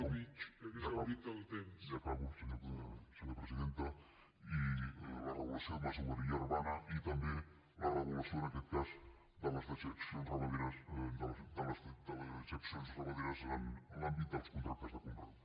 ja acabo senyora presidenta i la regulació de la masoveria urbana i també la regulació en aquest cas de les dejeccions ramaderes en l’àmbit dels contractes de conreu